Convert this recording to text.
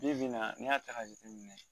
Bi-bi in na n'i y'a ta k'a jateminɛ